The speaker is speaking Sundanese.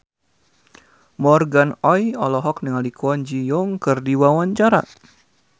Morgan Oey olohok ningali Kwon Ji Yong keur diwawancara